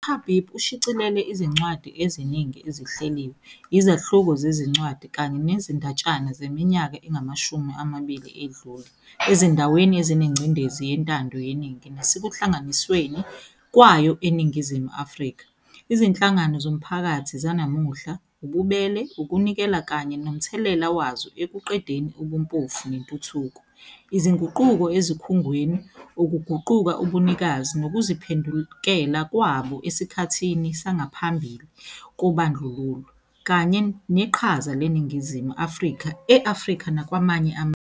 UHabib ushicilele izincwadi eziningi ezihleliwe, izahluko zezincwadi kanye nezindatshana zeminyaka engamashumi amabili edlule ezindaweni ezinengcindezi yentando yeningi nasekuhlanganisweni kwayo eNingizimu Afrika, izinhlangano zomphakathi zanamuhla, ububele, ukunikela kanye nomthelela wazo ekuqedeni ubumpofu nentuthuko, izinguquko ezikhungweni, ukuguquka ubunikazi nokuziphendukela kwabo esikhathini sangaphambi kobandlululo, kanye neqhaza leNingizimu Afrika e-Afrika nakwamanye amazwe.